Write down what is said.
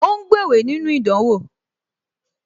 Ó ń gbéwèé nínú ìdánwò